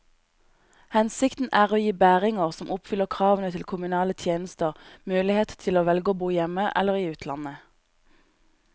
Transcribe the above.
Hensikten er å gi bæringer som oppfyller kravene til kommunale tjenester, mulighet til å velge å bo hjemme eller i utlandet.